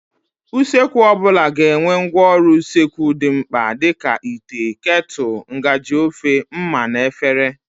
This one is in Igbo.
Usekwu ọbụla ga-enwe ngwaọrụ usekwu dị mkpa dịka: ite, ketụlụ, ngaji ofe, ḿmà na efere.